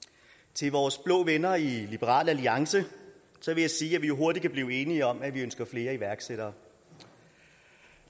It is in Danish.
til vores blå venner i liberal alliance vil jeg sige at vi jo hurtigt kan blive enige om at vi ønsker flere iværksættere og